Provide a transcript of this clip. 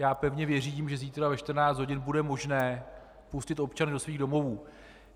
Já pevně věřím, že zítra ve 14 hodin bude možné pustit občany do jejich domovů.